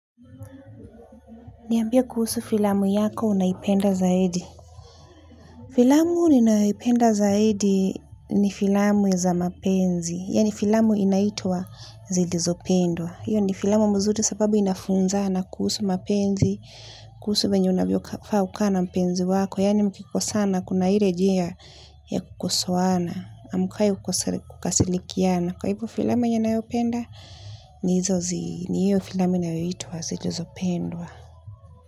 Niambie kuhusu filamu yako unaipenda zaidi filamu ninayoipenda zaidi ni filamu za mapenzi yaani filamu inaitwa zilizopendwa hiyo ni filamu mzuri sababu inafunzana kuhusu mapenzi kuhusu venye unavyofaa kukaa na mpenzi wako yaani mkikosana kuna ile jia ya kukosoana amukai kasilikiana kwa hivyo filamu yenye nayopenda ni hizo zi ni hiyo filamu inayoitwa zilizopendwa.